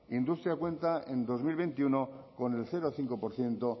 industria cuenta en dos mil veintiuno con el cero coma cinco por ciento